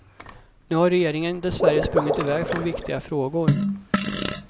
Nu har regeringen dessvärre sprungit iväg från viktiga frågor.